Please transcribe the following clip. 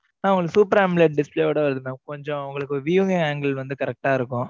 ஆஹ் mam உங்களுக்கு super omelette display ஓட வருது mam கொஞ்சம் view angel வந்து correct அ இருக்கும்.